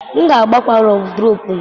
M ga-agbakwa Wọdụropu m.